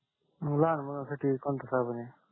मग लहान मुलांसाठी कोणता सामान आहे